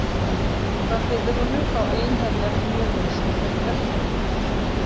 Frá Heiðrúnu fá einherjar mjöðinn sem þeir drekka.